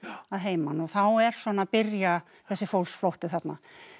að heiman og þá er að byrja þessi fólksflótti þarna